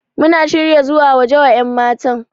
Muna shirya zuwa waje wa yanmatan.